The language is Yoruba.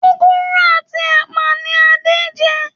Gúgúrú ati ẹpa ní Ade njé.